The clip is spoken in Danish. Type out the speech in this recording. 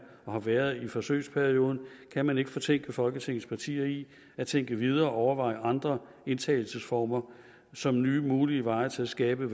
og har været i forsøgsperioden kan man ikke fortænke folketingets partier i at tænke videre og overveje andre indtagelsesformer som nye mulige veje til at skabe